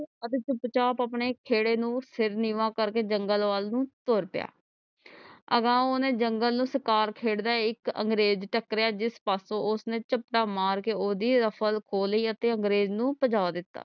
ਅਤੇ ਚੁੱਪ ਚਾਪ ਆਪਣੇ ਖੇੜੇ ਨੂੰ ਸਿਰ ਨੀਵਾਂ ਕਰਕੇ ਜੰਗਲ ਵਲ ਨੂੰ ਤੁਰ ਪਿਆ ਅਗਾ ਓਹਨੇ ਜੰਗਲ ਨੂੰ ਸਰਕਾਰ ਦਾ ਇਕ ਅੰਗਰੇਜ ਟੱਕਰਿਆ ਜਿਸ ਪਾਸੋ ਓਹਨੇ ਚਪਟਾ ਮਾਰ ਕੇ ਓਹਦੀ ruffle ਖੋ ਲੀ ਤੇ ਅੰਗਰੇਜ ਨੂੰ ਭਜਾ ਦਿਤਾ